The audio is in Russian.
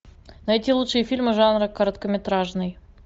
найти лучшие фильмы жанра короткометражный